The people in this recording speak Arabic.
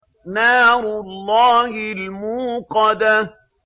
نَارُ اللَّهِ الْمُوقَدَةُ